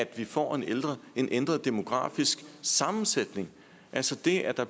vil få en ændret en ændret demografisk sammensætning altså det at der